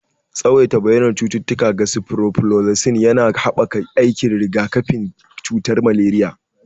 Tsawaita bayyanar cututtuka ga sifroflozasin yana haɓaka aikin rigakafin cutar maleriya.